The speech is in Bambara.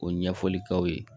O ɲɛfɔli k'aw ye